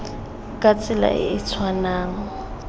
ka tsela e e tshwanang